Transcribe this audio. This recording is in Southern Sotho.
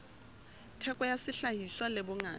theko ya sehlahiswa le bongata